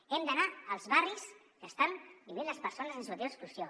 hem d’anar als barris que hi estan vivint les persones en situació d’exclusió